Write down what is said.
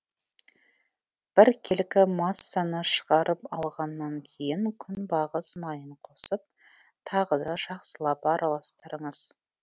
біркелкі массаны шығарып алғаннан кейін күнбағыс майын қосып тағы да жақсылап араластырыңыз